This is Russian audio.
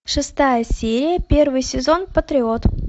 шестая серия первый сезон патриот